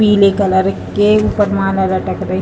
पीले कलर के ऊपर माला लटक रही --